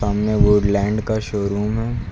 सामने वुडलैंड का शोरूम है।